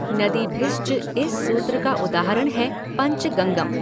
नदीभिश्च इस सूत्र का उदाहरण है पञ्चगङ्गम्।